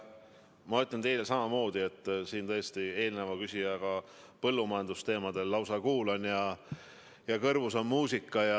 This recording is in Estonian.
Ma ütlen teile samamoodi nagu eelmisele küsijale, kelle jutt põllumajandusteemadel kõlas minu kõrvadele nagu muusika.